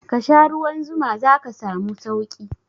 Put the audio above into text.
Kasha ruwan zuma zaka samu sauki